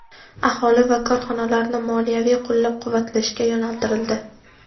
aholi va korxonalarni moliyaviy qo‘llab-quvvatlashga yo‘naltirildi.